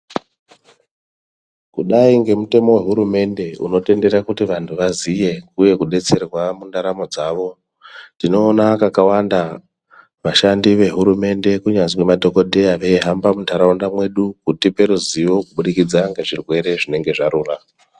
Kudai ngemutemo wehurumende unotendera kuti vantu vaziye uye kudetserwa muntaramo dzavo tinoona kakawanda vashandi vehurumende kunyazwi madhokodheya veihamba muntaraunda medu kutipe ruzivo kuburikidza ngezvirwere zvinenge zvarura.